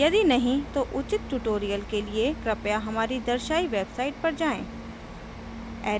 यदि नहीं है तो उचित tutorials के लिए कृपया हमारी दर्शायी website पर जाएँ